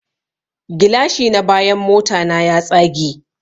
Gilashi na bayan motana ya tsage